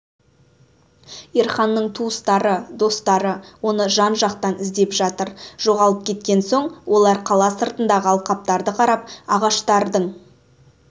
ерханның туыстары достары оны жан-жақтан іздеп жатыр жоғалып кеткен соң олар қала сыртындағы алқаптарды қарап ағаштардың